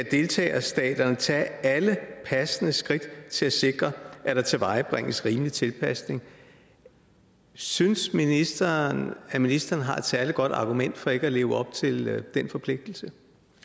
deltagerstaterne skal tage alle passende skridt til at sikre at der tilvejebringes rimelig tilpasning synes ministeren at ministeren har et særlig godt argument for ikke at leve op til den forpligtelse